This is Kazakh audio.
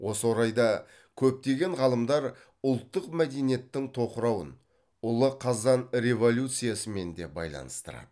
осы орайда көптеген ғалымдар ұлттық мәдениеттің тоқырауын ұлы қазан революциясымен де байланыстырады